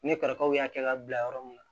Ne kɔrɔkɛw y'a kɛ ka bila yɔrɔ min na